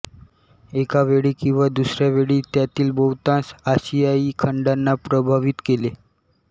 एका वेळी किंवा दुसऱ्या वेळी त्यातील बहुतांश आशियाई खंडांना प्रभावित केले